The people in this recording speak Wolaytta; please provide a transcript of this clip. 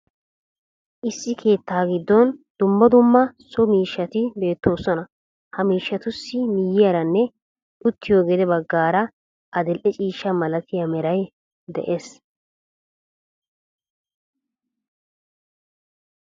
Issi keettaa giddon dumma dumma so giddo miishshati beettoosona. Ha miishshatussi miyiyaaranne uttiyo gede bagaara adil"e ciishshaa malatiya meray de'ees.